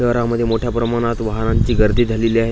शहरामध्ये मोठ्या प्रमाणात वाहनांची गर्दी झालेली आहे.